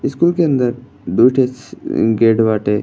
School के अंदर दू ठो स गेट बाटे।